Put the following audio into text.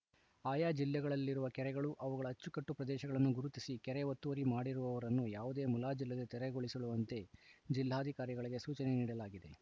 ಆಯಾ ಜಿಲ್ಲೆಗಳಲ್ಲಿರುವ ಕೆರೆಗಳು ಅವುಗಳ ಅಚ್ಚುಕಟ್ಟು ಪ್ರದೇಶಗಳನ್ನು ಗುರುತಿಸಿ ಕೆರೆ ಒತ್ತುವರಿ ಮಾಡಿರುವವರನ್ನು ಯಾವುದೇ ಮುಲಾಜಿಲ್ಲದೇ ತೆರವುಗೊಳಿಸುವಂತೆ ಜಿಲ್ಲಾಧಿಕಾರಿಗಳಿಗೆ ಸೂಚನೆ ನೀಡಲಾಗಿದೆ